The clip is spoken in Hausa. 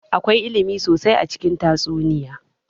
Akwai ilimi sosai a cikin tatsuniya